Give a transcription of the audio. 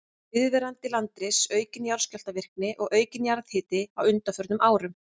Viðvarandi landris, aukin jarðskjálftavirkni og aukinn jarðhiti á undanförnum árum.